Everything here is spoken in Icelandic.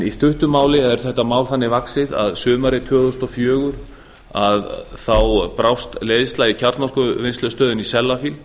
í stuttu máli er þetta mál þannig vaxið að sumarið tvö þúsund og fjögur brást leiðsla í kjarnorkuvinnslustöðinni í sellafield